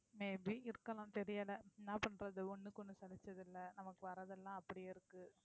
may be இருக்கலாம் தெரியலை என்ன பண்றது ஒண்ணுக்கு ஒண்ணு சலிச்சது இல்லை நமக்கு வர்றதெல்லாம் அப்படியே இருக்கு.